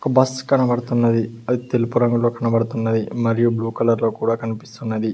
Bus కనబడుతున్నది అది తెలుపు రంగులో కనబడుతున్నది మరియు బ్లూ కలర్లో కూడా కనిపిస్తున్నది.